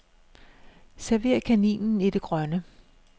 Server kaninen i det grønne.